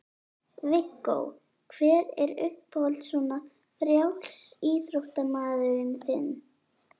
Viggó: hver er uppáhalds svona frjálsíþróttamaðurinn þinn?